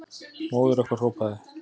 Móðir okkar hrópaði.